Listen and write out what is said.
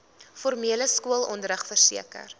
formele skoolonderrig verseker